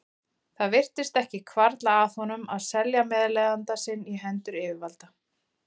Það virtist ekki hvarfla að honum að selja meðleigjanda sinn í hendur yfirvalda.